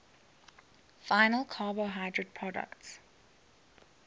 final carbohydrate products